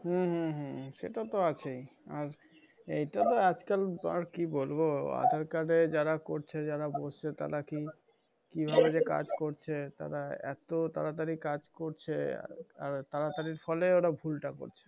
হু হু হু হু সেটা তো আছেই। আর এইটা তো আজকাল আরকি বলবো আধার-কার্ডে যারা করছে যারা বুঝছে তারা কি? কিভাবে যে কাজ করছে? তারা এত তাড়াতাড়ি কাজ করছে। আর তাড়াতাড়ির ফলে ওরা ভুলটা করছে।